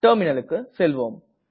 Terminalக்கு செல்வோம்